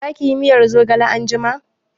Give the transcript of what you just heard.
Za ki yi miyar zogale anjima?